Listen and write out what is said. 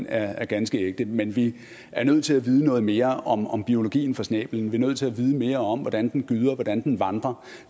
er er ganske ægte men vi er nødt til at vide noget mere om om biologien for snæblen vi er nødt til at vide mere om hvordan den gyder og hvordan den vandrer